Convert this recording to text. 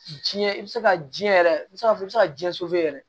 Jiɲɛ i bɛ se ka jiyɛn yɛrɛ i bɛ se ka fɔ i bɛ se ka ji yɛrɛ